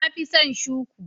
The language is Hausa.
Na fi son shuku.